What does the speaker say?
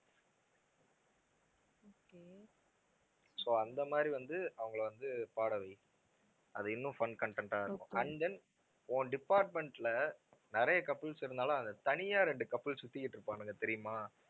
so அந்த மாதிரி வந்து அவங்களை வந்து பாட வை. அது இன்னும் fun content ஆ இருக்கும் and then உன் department ல நிறைய couples இருந்தாலும் அந்தத் தனியா ரெண்டு couples சுத்திக்கிட்டு இருப்பானுங்க தெரியுமா?